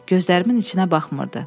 Gözlərimin içinə baxmırdı.